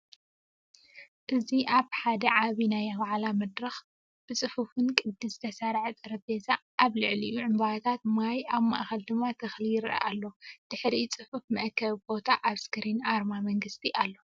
እዚ ኣብ ሓደ ዓቢ ናይ ዋዕላ መድረኽ ብጽፉፍ ቅዲ ዝተሰርዐ ጠረጴዛ፡ ኣብ ልዕሊኡ ዕምባባታት ማይ፡ ኣብ ማእከል ድማ ተኽሊ ይረአ ኣሎ። ድሕሪኡ ጽፉፍ መአከቢ ቦታ ኣብ ስክሪን ኣርማ መንግስቲ ኣሎ።